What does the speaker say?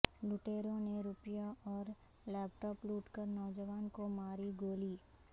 لٹیروں نے روپیہ اور لیپ ٹاپ لوٹ کر نوجوان کو ماری گولی